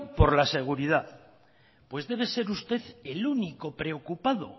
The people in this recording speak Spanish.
por la seguridad pues debe de ser usted el único preocupado